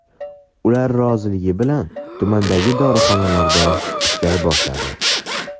Ular roziligi bilan tumandagi dorixonada ishlay boshladim.